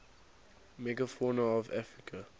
megafauna of africa